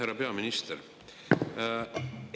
Härra peaminister!